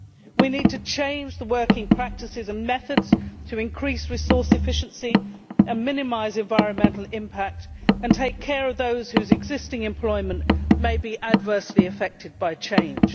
We need to change working practices and methods to increase resource efficiency, minimise environmental impact and take care of those whose existing employment may be adversely affected by change.